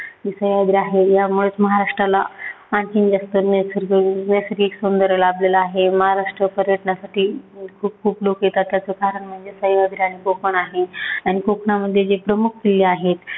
निसर्ग आहे. यामुळेचं महाराष्ट्राला आणखीन जास्त नैसर्गिक नैसर्गिक सौंदर्य लाभलेलं आहे. महाराष्ट्र पर्यटनासाठी खूप खूप लोक येतात, त्याच कारण म्हणजे सह्यान्द्री आणि कोकण आहे. आणि कोकणामध्ये जे प्रमुख किल्ले आहेत.